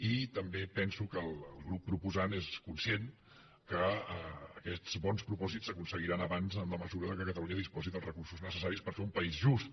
i també penso que el grup proposant és conscient que aquests bons propòsits s’aconseguiran abans en la mesura que catalunya disposi dels recursos necessaris per fer un país just